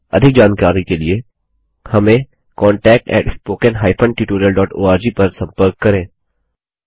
अधिक जानकारी के लिए contactspoken tutorialorg पर संपर्क करें